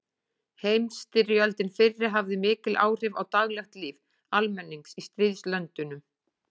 Heimsstyrjöldin fyrri hafði mikil áhrif á daglegt líf almennings í stríðslöndunum.